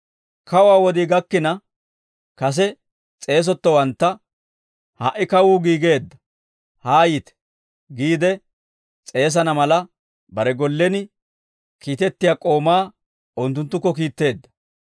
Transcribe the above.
Kawuwaa wodii gakkina, kase s'eesettowantta, ‹Ha"i kawuu giigeedda, haayite› giide s'eesana mala bare gollen kiitettiyaa k'oomaa unttunttukko kiitteedda.